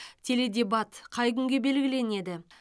теледебат қай күнге белгіленеді